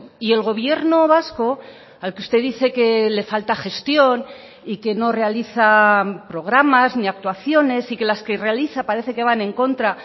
y el gobierno vasco al que usted dice que le falta gestión y que no realiza programas ni actuaciones y que las que realiza parece que van en contra